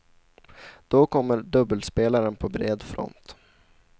Då kommer dubbelspelaren på bred front.